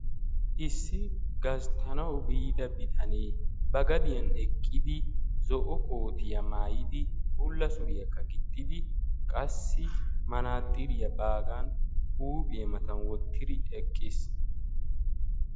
Issi gasttanawu biida bitane ba gadiyan eqqidi zo"o kootiya maayidi bulla suriyakka gixxidi qassi matsiriya baagaa huuphphiya matan wottidi eqqiis.